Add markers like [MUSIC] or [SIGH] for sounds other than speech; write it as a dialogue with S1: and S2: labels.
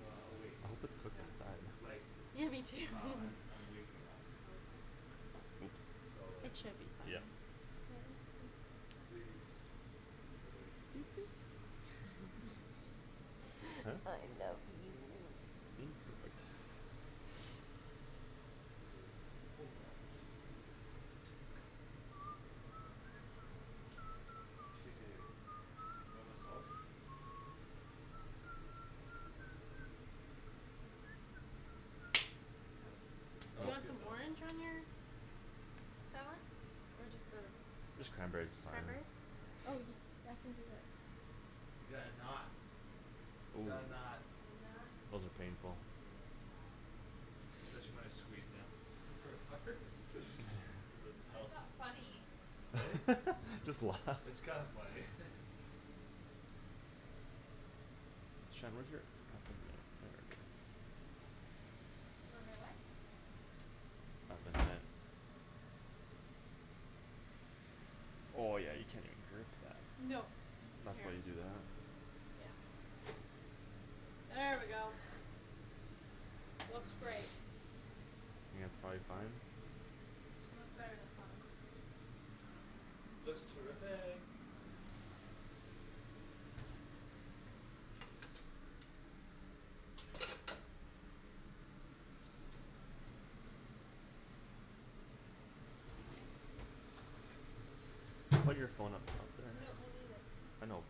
S1: uh awake
S2: I hope it's cooked
S3: Yeah.
S2: inside.
S1: Like,
S4: Yeah, me too. [LAUGHS]
S1: uh I'm, I'm waking up.
S3: Okay.
S2: Oops.
S1: So
S4: It
S1: like
S4: should be fine.
S2: Yep.
S4: [INAUDIBLE]
S1: Please awake kiss
S4: Guess it's good.
S3: That'd be nice.
S4: [NOISE]
S2: Huh?
S4: I love you.
S2: Imperfect.
S1: Please awake kiss. Oh we got some cheese here. Cheesy. You want my sauce? That
S4: You
S1: was
S4: want
S1: good
S4: some
S1: though.
S4: orange on your salad? Or just the, just
S2: Just cranberries is fine.
S4: cranberries? Oh, I can do that.
S1: We got a knot. We got a
S2: [NOISE]
S1: knot.
S3: A
S4: I'm not
S3: knot.
S2: Wasn't painful.
S1: [NOISE]
S3: Yeah.
S1: Said she wanted to squeeze down. Super hard? [LAUGHS] It
S2: [LAUGHS]
S1: doesn't
S3: Why
S1: help.
S3: is that funny?
S1: Eh?
S2: [LAUGHS] Just
S1: It's
S2: laughs.
S1: kinda funny. [LAUGHS]
S4: Where my what?
S2: I've been hit. Oh, yeah, you can even girth that.
S4: No,
S2: That's
S4: here,
S2: why you do that.
S4: yeah. There we go. Looks great.
S3: [NOISE]
S2: I think that's prolly fine.
S4: Looks better than fine.
S1: Looks terrific.
S2: Put your phone up top there.
S4: No, I need it.
S2: I know.